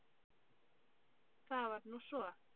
Það var nú svo.